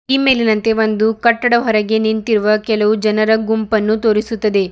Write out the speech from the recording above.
ಈ ಮೇಲಿನಂತೆ ಒಂದು ಕಟ್ಟಡ ಹೊರಗೆ ನಿಂತಿರುವ ಕೆಲವು ಜನರ ಗುಂಪನ್ನು ತೋರಿಸುತ್ತದೆ.